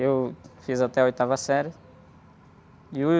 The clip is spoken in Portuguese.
Eu fiz até a oitava série. E...